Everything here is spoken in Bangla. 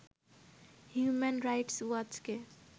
human rights ওয়াচকে